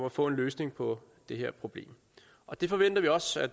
at få en løsning på det her problem og det forventer vi også at